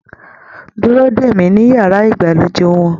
Dúró dè mí ní yàrá ìgbàlejò wọn.